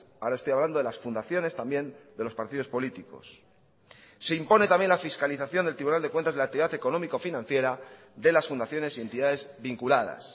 ahora estoy hablando de las fundaciones también de los partidos políticos se impone también la fiscalización del tribunal de cuentas de la actividad económico financiera de las fundaciones y entidades vinculadas